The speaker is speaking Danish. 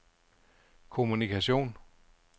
kommunikation